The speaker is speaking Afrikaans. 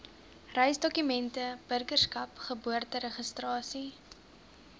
reisdokumente burgerskap geboorteregistrasie